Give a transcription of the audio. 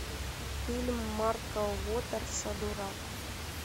фильм марка уотерса дурак